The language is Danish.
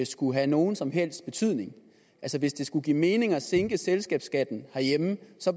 skulle have nogen som helst betydning hvis det skal give mening at sænke selskabsskatten herhjemme